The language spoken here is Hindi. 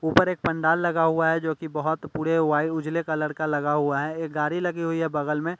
ऊपर एक पंडाल लगा हुआ है जो कि बहुत पूरी वाइट उजले कलर का लगा हुआ है एक गाड़ी लगी हुई है बगल में--